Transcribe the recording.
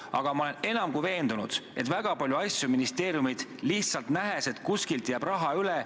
Aga ma olen enam kui veendunud, et väga palju asju tehakse ministeeriumides ära lihtsalt nähes, et kuskilt jääb raha üle.